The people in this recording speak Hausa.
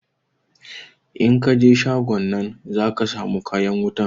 In kan je shagon nan zaka samu kayan wutan